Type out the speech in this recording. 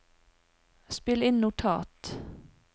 spill inn notat